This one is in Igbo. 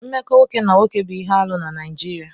Mmekọ nwoke na nwoke bụ ihe arụ na Naịjirịa.